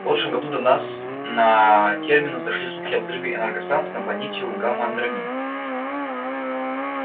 в прошлом году до нас на терминус дошли слухи о взрыве энергостанции на планете у гамма андромед